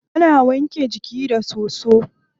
Ana wanke jiki da soso.